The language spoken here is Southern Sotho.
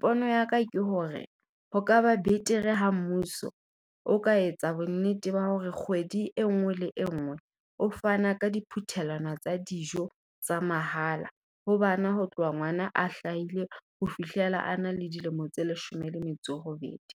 Pono ya ka ke hore, ho kaba betere ha mmuso o ka etsa bonnete ba hore kgwedi e nngwe le e nngwe o fana ka di phuthelwana tsa dijo tsa mahala. Ho bana ho tloha ngwana a hlaile ho fihlela a na le dilemo tse leshome le metso robedi,